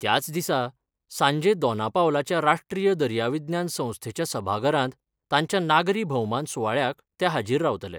त्याच दिसा सांजे दोनापावलाच्या राश्ट्रीय दर्याविज्ञान संस्थेच्या सभाघरात तांच्या नागरी भौमान सुवाळ्याक ते हाजीर रावतले.